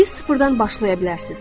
Siz sıfırdan başlaya bilərsiniz.